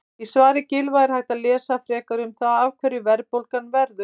Í svari Gylfa er hægt að lesa frekar um það af hverju verðbólga verður.